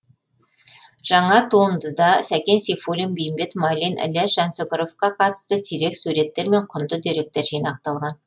жаңа туындыда сәкен сейфулин бейімбет майлин ілияс жансүгіровқа қатысты сирек суреттер мен құнды деректер жинақталған